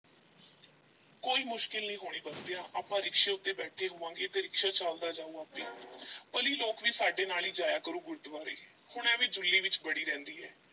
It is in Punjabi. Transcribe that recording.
ਕੋਈ ਮੁਸ਼ਕਲ ਨਹੀਂ ਹੋਣੀ ਬੰਤਿਆ ਆਪਾਂ ਰਿਕਸ਼ੇ ਉੱਤੇ ਬੈਠੇ ਹੋਵਾਂਗੇ ਤੇ ਰਿਕਸ਼ਾ ਚੱਲਦਾ ਜਾਊ ਆਪੇ ਭਲੀ ਲੋਕ ਵੀ ਸਾਡੇ ਨਾਲ ਈ ਜਾਇਆ ਕਰੂ ਗੁਰਦੁਆਰੇ, ਹੁਣ ਐਵੇਂ ਜੁੱਲੀ ਵਿੱਚ ਵੜੀ ਰਹਿੰਦੀ ਐ।